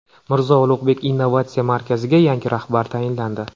Mirzo Ulug‘bek innovatsiya markaziga yangi rahbar tayinlandi.